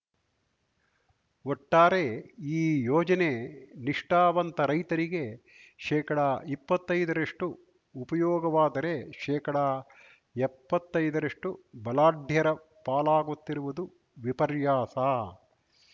ಒಟ್ಟಾರೆ ಈ ಯೋಜನೆ ನಿಷ್ಠಾವಂತ ರೈತರಿಗೆ ಶೇಕಡಇಪ್ಪತ್ತೈದರಷ್ಟುಉಪಯೋಗವಾದರೆ ಶೇಕಡಎಪ್ಪತ್ತೈದರಷ್ಟುಬಲಾಢ್ಯರ ಪಾಲಾಗುತ್ತಿರುವುದು ವಿಪರ್ಯಾಸ